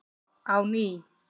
á ný.